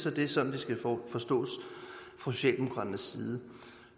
at det er sådan det skal forstås fra socialdemokratiets side